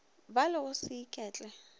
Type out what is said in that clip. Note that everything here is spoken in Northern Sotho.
ba le go se iketle